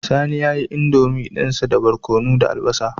Sani yayi indomie dinsa da barkono da albasa